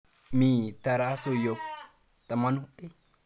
Mi tarasosyek tamanu.